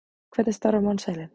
Hvernig starfar mannsheilinn?